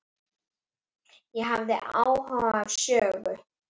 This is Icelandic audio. Ég hafði áhuga á sögu